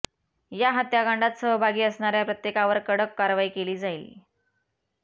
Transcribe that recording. या हत्याकांडात सहभागी असणाऱ्या प्रत्येकावर कडक कारवाई केली जाईल